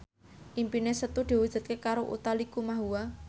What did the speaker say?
impine Setu diwujudke karo Utha Likumahua